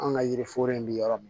An ka yiri foro in bɛ yɔrɔ min